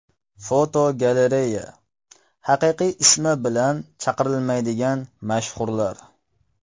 Fotogalereya: Haqiqiy ismi bilan chaqirilmaydigan mashhurlar.